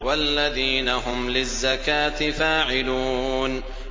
وَالَّذِينَ هُمْ لِلزَّكَاةِ فَاعِلُونَ